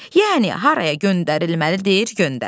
Yəni haraya göndərilməlidir, göndərir.